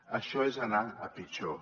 això és anar a pitjor